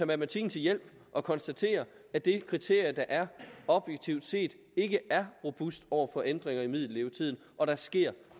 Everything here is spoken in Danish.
matematikken til hjælp og konstatere at det kriterium der er objektivt set ikke er robust over for ændringer i middellevetiden og der sker